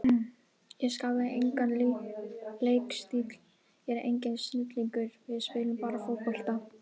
Ég skapaði engan leikstíl, ég er enginn snillingur, við spilum bara fótbolta.